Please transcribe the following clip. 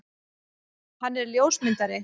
Hann er ljósmyndari.